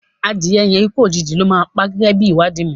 Adìye yẹn ikú òjìji ló máa pá gẹ́gẹ́ bí ìwádìí mi.